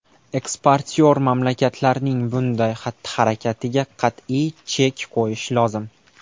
Eksportyor mamlakatlarning bunday xatti-harakatiga qat’iy chek qo‘yish lozim.